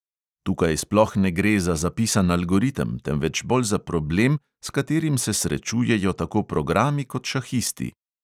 Tukaj sploh ne gre za zapisan algoritem, temveč bolj za problem, s katerim se srečujejo tako programi kot šahisti.